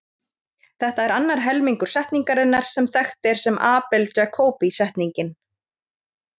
Þetta er annar helmingur setningarinnar sem þekkt er sem Abel-Jacobi setningin.